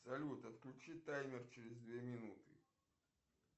салют отключи таймер через две минуты